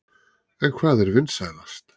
En hvað er vinsælast?